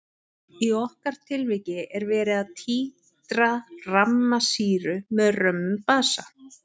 Í okkar tilviki er verið að títra ramma sýru með römmum basa.